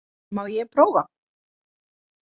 Má ég prófa?